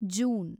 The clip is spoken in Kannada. ಜೂನ್